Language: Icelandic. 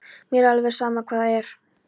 Mér er alveg sama hvað það er.